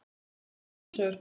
Alltaf komu sömu svör.